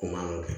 O man nɔgɔn